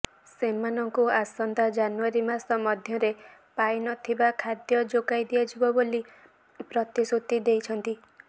ସେମାନଙ୍କୁ ଆସନ୍ତା ଜାନୁୟାରୀ ମାସ ମଧ୍ୟରେ ପାଇନଥିବା ଖାଦ୍ୟ ଯୋଗାଇ ଦିଆଯିବ ବୋଲି ପ୍ରତିଶ୍ରୁତି ଦେଇଛନ୍ତି